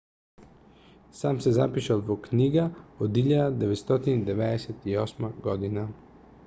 сам се запишал во книга од 1998 година